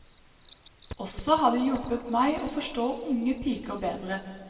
Også har det hjulpet meg å forstå unge piker bedre.